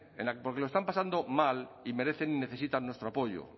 porque lo están pasando mal y merecen y necesitan nuestro apoyo